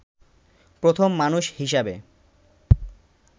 প্রথম মানুষ হিসাবে